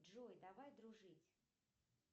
джой давай дружить